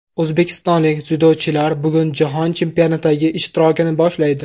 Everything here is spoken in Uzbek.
O‘zbekistonlik dzyudochilar bugun Jahon chempionatidagi ishtirokini boshlaydi.